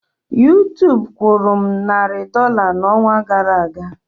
YouTube kwụrụ m narị dọla n'ọnwa gara aga.